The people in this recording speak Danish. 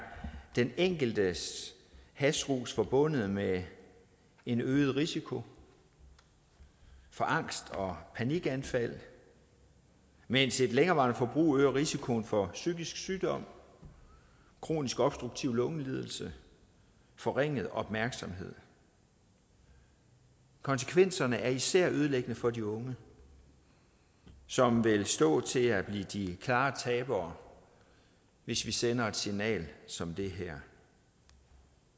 den enkeltes hashrus forbundet med en øget risiko for angst og panikanfald mens et længerevarende forbrug øger risikoen for psykisk sygdom kronisk obstruktiv lungelidelse forringet opmærksomhed konsekvenserne er især ødelæggende for de unge som vil stå til at blive de klare tabere hvis vi sender et signal som det her